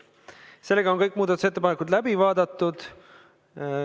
Sellega on kõik muudatusettepanekud läbi vaadatud.